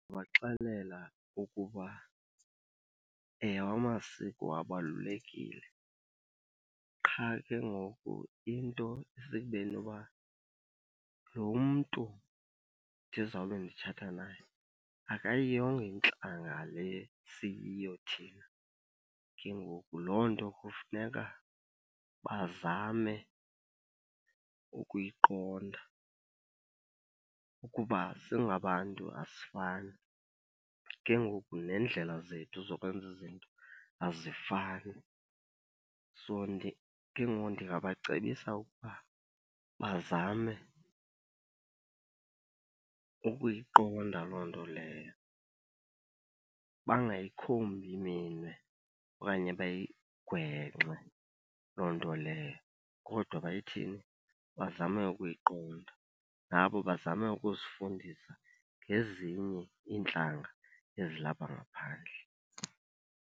Ndingabaxelela ukuba ewe amasiko abalulekile qha ke ngoku into isekubeni yoba lo mntu ndizawube nditshata naye akayiyongo intlanga le siyiyo thina. Ke ngoku loo nto kufuneka bazame ukuyiqonda ukuba singabantu asifani, ke ngoku neendlela zethu zokwenza izinto azifani. So ke ngoku ndingabacebisa ukuba bazame ukuyiqonda loo nto leyo, bangayikhombi minwe okanye bayigwenxe loo nto leyo. Kodwa bayithini? Bazame ukuyiqonda. Nabo bazame ukuzifundisa ngezinye iintlanga ezilapha ngaphandle.